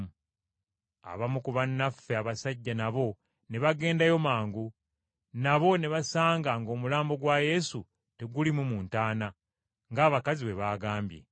Abamu ku bannaffe abasajja nabo ne bagendayo mangu, nabo ne basanga ng’omulambo gwa Yesu teguliimu mu ntaana, ng’abakazi bwe baagambye.”